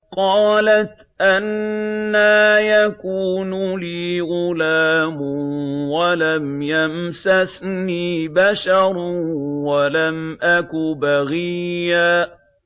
قَالَتْ أَنَّىٰ يَكُونُ لِي غُلَامٌ وَلَمْ يَمْسَسْنِي بَشَرٌ وَلَمْ أَكُ بَغِيًّا